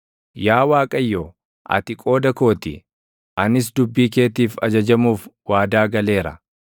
Yaa Waaqayyo, ati qooda koo ti; anis dubbii keetiif ajajamuuf waadaa galeera.